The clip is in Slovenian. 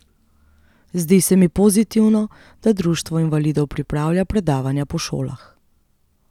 Zdi se mi pozitivno, da društvo invalidov pripravlja predavanja po šolah.